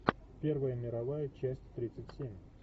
первая мировая часть тридцать семь